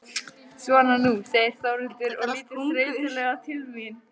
Svona nú, segir Þórhildur og lítur þreytulega til mín.